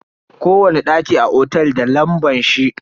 Kowani daki a cikin otel da lambar shi.